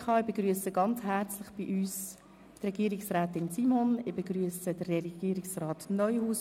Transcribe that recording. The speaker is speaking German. Ich begrüsse herzlich Regierungsrätin Simon und Regierungsrat Neuhaus.